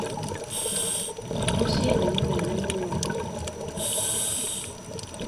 mũciĩ nĩ mũnene mũno